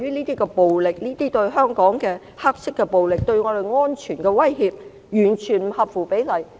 這些暴力——香港的黑色暴力——以及對我們造成的安全威脅，完全不合乎比例。